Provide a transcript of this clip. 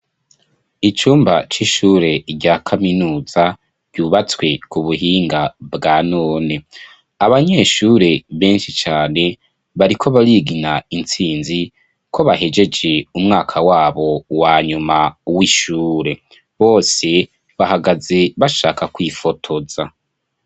Icumba c'ishure rya kaminuza cubatswe kubuhinga bwa none abanyeshure benshi bariko barigina ko bahejeje umwaka waba wanyuma wishure, benshi bariko barifotoza.